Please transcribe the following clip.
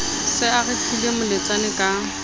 se a retlile moletsane ka